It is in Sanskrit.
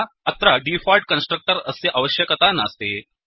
अत्र डीफोल्ट् कन्स्ट्रक्टर् अस्य अवश्यकता नास्ति